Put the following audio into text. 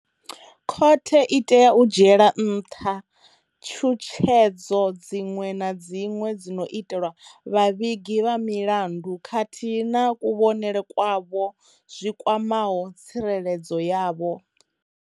Khothe i tea u dzhiela nṱha tshutshedzo dziṅwe na dziṅwe dzi no itelwa vhavhigi vha milandu khathihi na kuvhonele kwavho zwi kwamaho tsireledzo yavho.